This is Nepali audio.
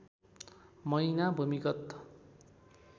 महिना भूमिगत